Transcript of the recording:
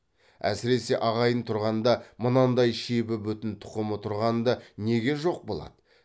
әсіресе ағайын тұрғанда мынандай шебі бүтін тұқымы тұрғанда неге жоқ болады